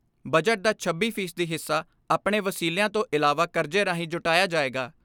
Budget ਦਾ ਛੱਬੀ ਫ਼ੀ ਸਦੀ ਹਿੱਸਾ ਆਪਣੇ ਵਸੀਲਿਆਂ ਤੋਂ ਇਲਾਵਾ ਕਰਜ਼ੇ ਰਾਹੀਂ ਜੁਟਾਇਆ ਜਾਏਗਾ।